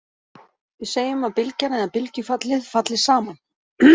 Við segjum að bylgjan eða bylgjufallið, falli saman.